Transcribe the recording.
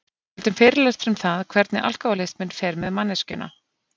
Við höldum fyrirlestra um það hvernig alkohólisminn fer með manneskjuna.